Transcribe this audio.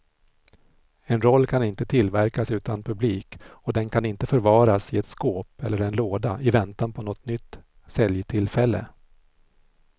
En roll kan inte tillverkas utan publik och den kan inte förvaras i ett skåp eller en låda i väntan på något nytt säljtillfälle.